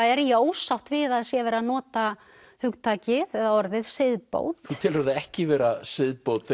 er ég ósátt við að það sé verið að nota hugtakið eða orðið siðbót þú telur það ekki vera siðbót